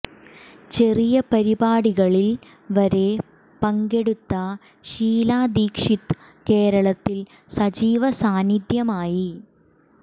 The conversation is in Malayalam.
ചെറിയ പരിപാടികളിൽ വരെ പങ്കെടുത്ത് ഷീലാ ദീക്ഷിത് കേരളത്തിൽ സജീവ സാന്നിദ്ധ്യമായി